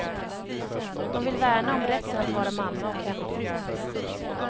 De vill värna om rätten att vara mamma och hemmafru.